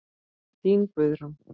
Þín, Guðrún.